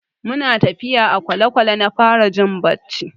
Muna tafiya a kwale-kwale na fara jin bacci.